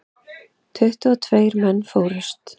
Tuttugu og tveir menn fórust.